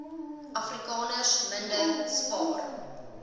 afrikaners minder spaar